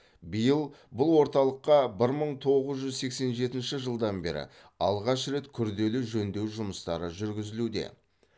биыл бұл орталыққа бір мың тоғыз жүз сексен жетінші жылдан бері алғаш рет күрделі жөндеу жұмыстары жүргізілуде